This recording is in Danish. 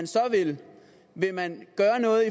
så vil vil man gøre noget